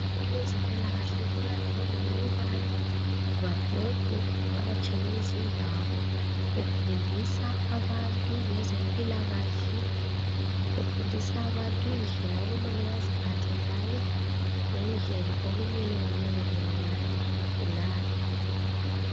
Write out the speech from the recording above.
Abezempilakahle kuqakathekile ukubana babhode bavakatshele izindawo befundisa abantu ngezempilakahle befundisa abantu indlela okumele beziphathe ngayo lendlela okumele banakekele ngayo abagulayo.